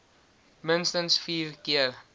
minstens vier keer